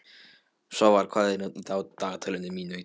Svafar, hvað er á dagatalinu mínu í dag?